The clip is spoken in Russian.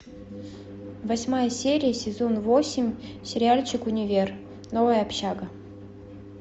восьмая серия сезон восемь сериальчик универ новая общага